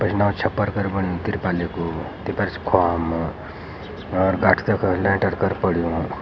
पिछ्ना छप्पर घर बण्युं तिरपालय कु तेपर और गाठ तेकर लैंटर घर पण्युं।